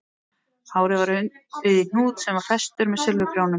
Hárið var undið í hnút sem var festur með silfurprjónum